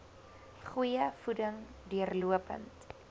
goeie voeding deurlopend